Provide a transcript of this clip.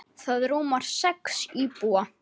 Það rúmar sex íbúa.